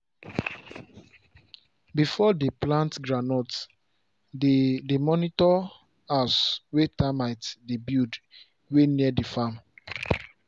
before dey plant groundnut dey dey monitor house wey termite dey build wey near the farm